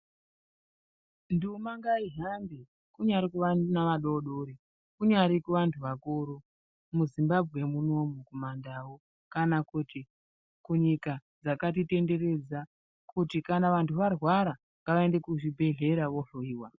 Nduma ngaihambe kunyari kuvana vadodori kunyari kuvantu vakuru muZimbabwe munomu kumaNdau kana kuti munyika dzakatitenderedza kuti kana vantu varwara ngavaende kuzvibhedhlera vohloiwa.